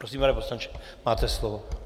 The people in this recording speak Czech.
Prosím, pane poslanče, máte slovo.